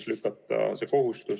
Sa oled kohaliku omavalitsuse kogemusega.